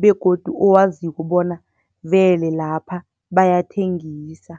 begodu owaziko bona vele lapha bayathengisa.